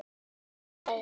Bjarni greyið!